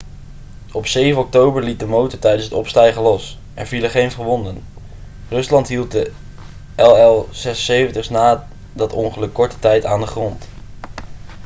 op 7 oktober liet de motor tijdens het opstijgen los er vielen geen gewonden rusland hield de il-76s na dat ongeluk korte tijd aan de grond